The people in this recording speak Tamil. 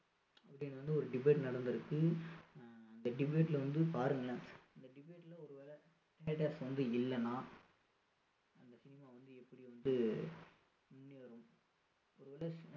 அப்படின்னு வந்து ஒரு debate நடந்திருக்கு அந்த அஹ் debate ல வந்து பாருங்களேன் அந்த debate ல ஒருவேளை theatres வந்து இல்லைன்னா அந்த cinema வந்து எப்படி வந்து ஒருவேளை